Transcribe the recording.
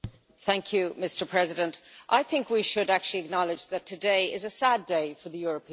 Mr President, I think we should actually acknowledge that today is a sad day for the European Parliament.